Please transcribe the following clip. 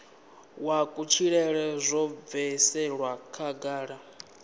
wa kutshilele zwo bviselwa khagala